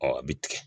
a bɛ tigɛ